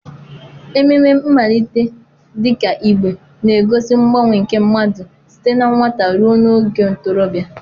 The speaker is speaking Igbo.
Ememe mmalite dị ka Igbe na-egosi mgbanwe nke mmadụ site na nwata ruo n'oge ntorobịa.